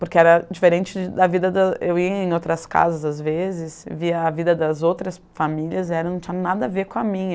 Porque era diferente a vida da... Eu ia em outras casas, às vezes, via a vida das outras famílias e não tinha nada a ver com a minha.